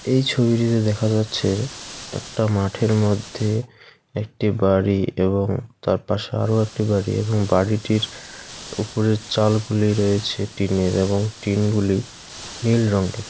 এই ছবিটিতে দেখা যাচ্ছে একটা মাঠের মধ্যে একটি বাড়ি এবং তার পাশে আরও একটি বাড়ি এবং বাড়িটির উপরের চালগুলি রয়েছে টিনের এবং টিনগুলি নীল রঙ্গের ।